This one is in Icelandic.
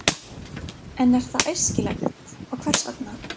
En er það æskilegt og hvers vegna?